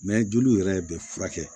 joliw yɛrɛ bɛ furakɛ